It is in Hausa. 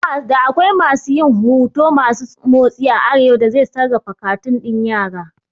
Da akwai masu yin huto masu motsi a arewa da zai sarrafa katun ɗin yara